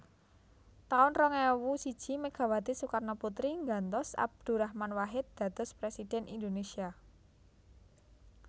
taun rong ewu siji Megawati Soekarnoputri nggantos Abdurrahman Wahid dados Presiden Indonesia